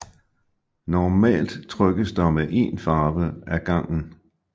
Normalt trykkes der med én farve ad gangen